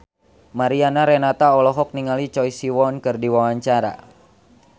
Mariana Renata olohok ningali Choi Siwon keur diwawancara